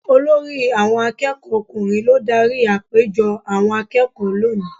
Olórí àwọn akẹ́kọ̀ọ́ ọkùnrin ló dárí àpéjọ àwọn akẹ́kọ̀ọ́ lónìí.